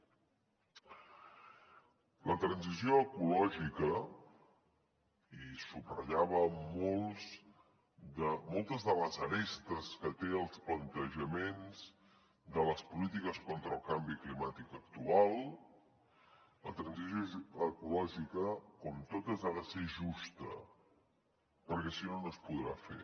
la transició ecològica i subratllava moltes de les arestes que tenen els plantejaments de les polítiques contra el canvi climàtic actual com totes ha de ser justa perquè si no no es podrà fer